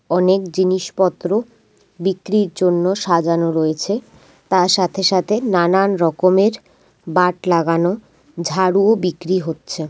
অনেক জিনিসপত্র বিক্রির জন্য সাজানো রয়েছে। তার সাথে সাথে নানান রকমের বাট লাগানো ঝাড়ু বিক্রি হচ্ছে।